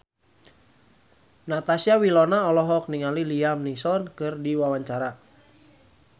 Natasha Wilona olohok ningali Liam Neeson keur diwawancara